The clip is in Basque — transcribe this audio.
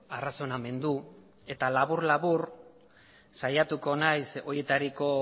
arrazonamendu eta labur labur saiatuko naiz horietariko